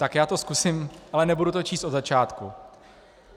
Tak já to zkusím, ale nebudu to číst od začátku.